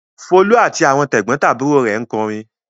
Folú àti àwọn tẹ̀gbọ́ntàbúrò rẹ̀ ń kọrin.